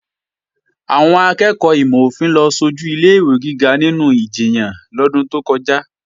Àwọn akẹ́ẹ̀kọ́ ìmò-òfin ló sojù ilé-ìwé gíga nínú ìjiyàn lọ́dún tó kọjá